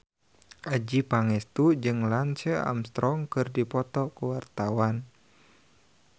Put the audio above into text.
Adjie Pangestu jeung Lance Armstrong keur dipoto ku wartawan